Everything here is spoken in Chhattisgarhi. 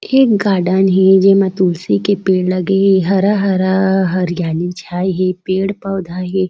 ये एक गार्डन हे जेमा तुलसी के पेड़ लगे हे हरा-हरा हरयाली छाए हे पेड़-पौधा हे।